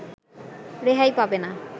রেহাই পাবে না